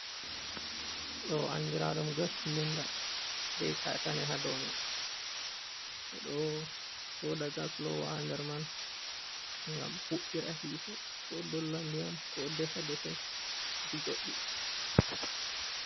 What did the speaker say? Ɗo andiraɗum Gasilinda be katane ha dou man ɓe do Soda Gas lowaa ha nder man ngam hubɓira hite ko Dolla ndiyam ko Defa-defe ɗi Goddi.